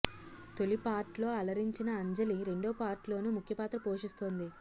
తొలి పార్ట్లో అలరించిన అంజలి రెండో పార్ట్లోను ముఖ్య పాత్ర పోషిస్తుంది